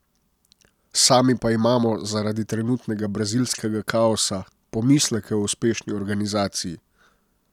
Sami pa imamo, zaradi trenutnega brazilskega kaosa, pomisleke o uspešni organizaciji.